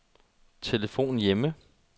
telefon hjemme